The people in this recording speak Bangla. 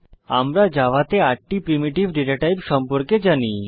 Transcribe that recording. আমরা জাভাতে ৮টি প্রিমিটিভ ডেটা টাইপ সম্পর্কে জানি